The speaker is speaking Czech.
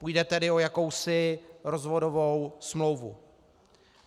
Půjde tedy o jakousi rozvodovou smlouvu.